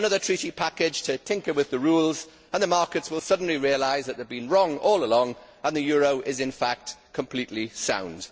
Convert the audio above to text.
Another Treaty package to tinker with the rules and the markets will suddenly realise that they have been wrong all along and the euro is in fact completely sound.